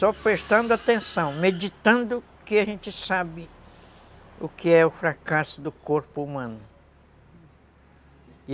Só prestando atenção, meditando que a gente sabe o que é o fracasso do corpo humano.